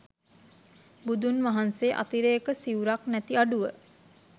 බුදුන් වහන්සේ අතිරේක සිවුරක් නැති අඩුව